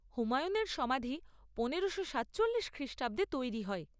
হুমায়ুনের সমাধি পনেরোশো সাতচল্লিশ খ্রিষ্টাব্দে তৈরি হয়।